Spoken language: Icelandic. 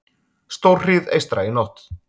Stórhríð eystra í nótt